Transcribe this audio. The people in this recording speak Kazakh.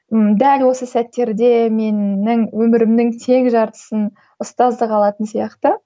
ммм дәл осы сәттерде менің өмірімнің тең жартысын ұстаздық алатын сияқты